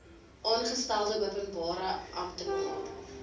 aangestelde openbare amptenaar